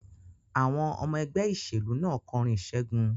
Àwọn ọmọ ẹgbẹ́ ìṣèlú náà kọrin ìṣẹ́gun.